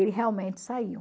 Ele realmente saiu.